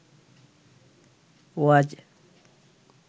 ওয়াজ